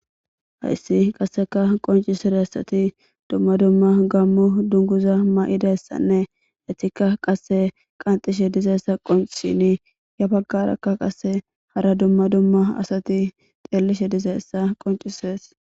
Hayssi qasseka qoncisire asati dumma dumma gammu dunguza ma,idayssanne hetika qasse qanxishe dizayssa qoncchini ya baggarakka qase hara dumma dumma asati ceellishe dizayssa qoncisees.